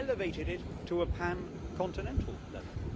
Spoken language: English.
We have elevated it to a pan continental level.